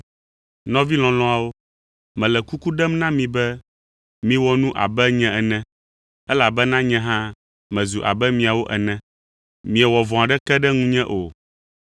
Nɔvi lɔlɔ̃awo, mele kuku ɖem na mi be miwɔ nu abe nye ene, elabena nye hã mezu abe miawo ene. Miewɔ vɔ̃ aɖeke ɖe ŋunye o.